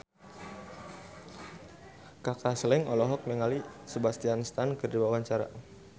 Kaka Slank olohok ningali Sebastian Stan keur diwawancara